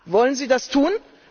Wollen Sie das tun?